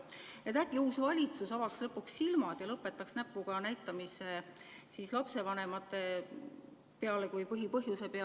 Äkki uus valitsus avab lõpuks silmad ja lõpetab näpuga näitamise lapsevanemate kui põhipõhjuse peale.